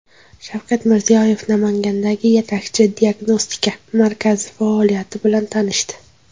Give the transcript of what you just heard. Shavkat Mirziyoyev Namangandagi yetakchi diagnostika markazi faoliyati bilan tanishdi.